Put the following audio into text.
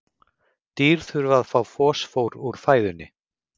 Dýr þurfa að fá fosfór úr fæðunni.